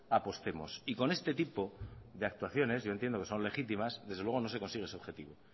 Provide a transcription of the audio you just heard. apostemos y con este tipo de actuaciones yo entiendo que son legítimas desde luego no se consigue ese objetivo